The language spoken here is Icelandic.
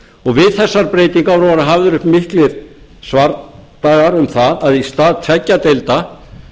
við þessar breytingar voru hafðir uppi miklir svardagar um það að í stað tveggja deilda